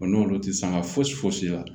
n'olu tɛ sanga fosi foyisi la